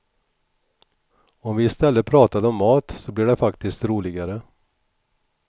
Om vi i stället pratade om mat så blir det faktiskt roligare.